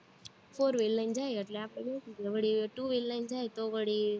fourwheel લઈને જાય, એટલે આપણે બેસવી વળી two-wheel લઈને જાય તો વળી